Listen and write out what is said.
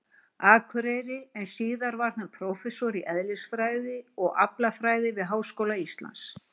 Akureyri, en síðar varð hann prófessor í eðlisfræði og aflfræði við Háskóla Íslands.